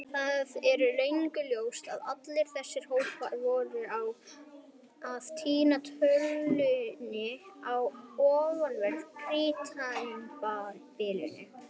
Það er löngu ljóst að allir þessir hópar voru að týna tölunni á ofanverðu Krítartímabilinu.